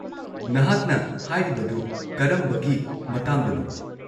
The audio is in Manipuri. -ꯅꯍꯥꯛꯅ ꯍꯥꯏꯔꯤꯕꯗꯨ ꯀꯔꯝꯕꯒꯤ ꯃꯇꯥꯡꯗꯅꯣ?